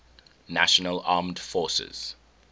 national armed forces